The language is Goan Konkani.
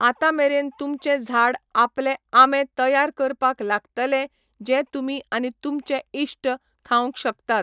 आतां मेरेन तुमचें झाड आपले आंबे तयार करपाक लागतलें जे तुमी आनी तुमचे इश्ट खावंक शकतात.